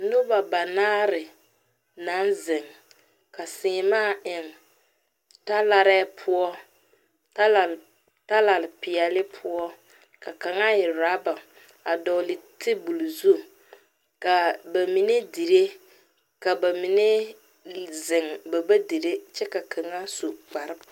Noba banaare naŋ zeŋ ka seemaa eŋe ta laare poɔ, talare pɛɛle poɔ ka kaŋ e ɔraba a dɔgeli tabol zu, kaa ba mine dire kyɛ ka ba mine zeŋ ba ba dire kyɛ ka kaŋ su kpare